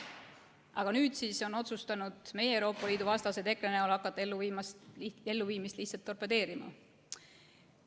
Aga nüüd on otsustanud meie Euroopa Liidu vastased EKRE näol hakata elluviimist lihtsalt torpedeerima.